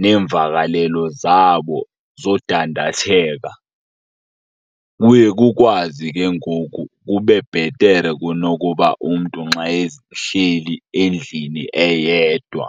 neemvakalelo zabo zodandathenga. Kuye kukwazi ke ngoku kube bhetere kunokuba umntu nxa ehleli endlini eyedwa.